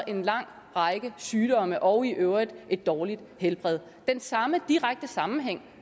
en lang række sygdomme og i øvrigt et dårligt helbred den samme direkte sammenhæng